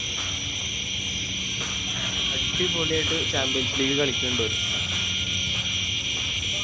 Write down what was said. അടിപൊളിയായിട്ട് Champions league കളിക്കണിണ്ടോല്